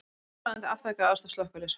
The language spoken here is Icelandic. Húsráðandi afþakkaði aðstoð slökkviliðsins